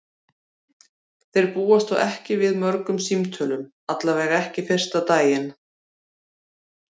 Þeir búast þó ekki við mörgum símtölum, allavega ekki fyrsta daginn.